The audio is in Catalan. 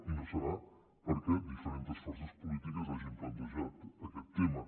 i no deu ser perquè diferents forces polítiques no hagin plantejat aquest tema